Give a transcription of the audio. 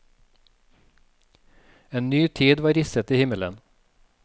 En ny tid var risset i himmelen.